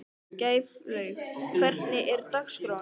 Gæflaug, hvernig er dagskráin?